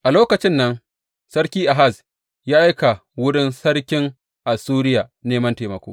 A lokacin nan Sarki Ahaz ya aika wurin sarkin Assuriya neman taimako.